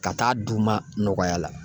Ka taa d'u ma nɔgɔya la.